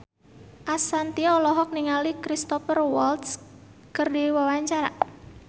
Ashanti olohok ningali Cristhoper Waltz keur diwawancara